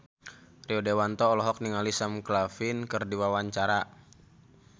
Rio Dewanto olohok ningali Sam Claflin keur diwawancara